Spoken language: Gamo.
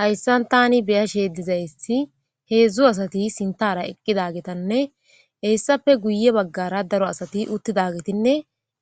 Hayssan taani beyashe dizaysi heedzdzu asati sintaara eqqidagetanne hessafe guye baggara daro asati uttidagetinne